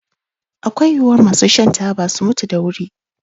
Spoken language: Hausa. Akwai yiwuwar masu shan taba su mutu da wuri